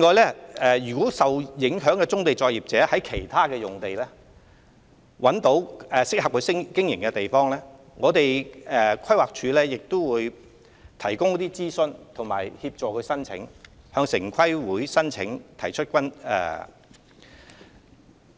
此外，如受影響棕地作業者在其他用地找到適合經營的場所，規劃署會提供諮詢服務及協助他們向城規會提出申